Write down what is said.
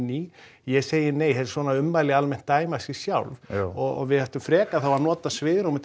í ég segi nei svona ummæli almennt dæma sig sjálf og við ættum frekar þá að nota svigrúmið